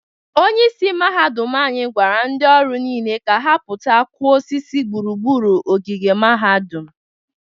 Onyeisi mahadum anyị gwara ndị ọrụ niile ka ha pụta kụọ osisi gburugburu ogige mahadum.